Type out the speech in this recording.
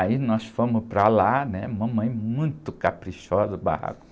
Aí nós fomos para lá, né? Mamãe muito caprichosa, o barraco.